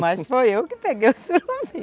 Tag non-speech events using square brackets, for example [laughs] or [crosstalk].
Mas foi eu que peguei o surubim [laughs]